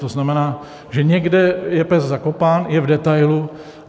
To znamená, že někde je pes zakopán, je v detailu.